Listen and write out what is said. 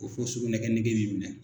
Ko fo sugunɛ kɛ nege bi minɛ.